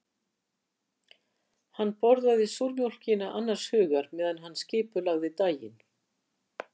Hann borðaði súrmjólkina annars hugar meðan hann skipulagði daginn.